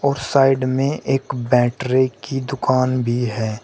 Side में एक battery की दुकान भी है।